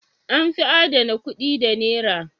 An fi adana kuɗi da Nera?